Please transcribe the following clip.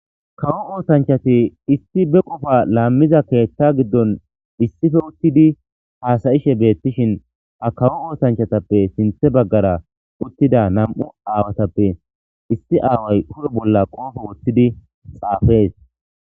kawo oosanchati issi be qofa laammiza keethta giddon issife uttidi haasayishe beettishin ha kawo oosanchatappe sinthe baggara uttida nam7u aawatappe issi aaway kure bolla qoofo woththidi xaafees